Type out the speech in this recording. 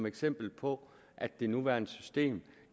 eksempel på at det nuværende system